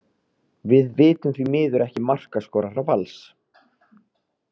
Við vitum því miður ekki markaskorara Vals.